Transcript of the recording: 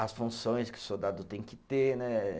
as funções que o soldado tem que ter, né?